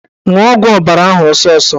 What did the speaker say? Ṅụọ ọgwụ ọbara ahụ ọsọsọ!